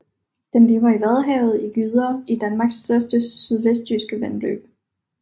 Den lever i Vadehavet og gyder i Danmark i større sydvestjyske vandløb